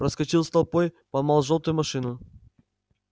проскочил с толпой поймал жёлтую машину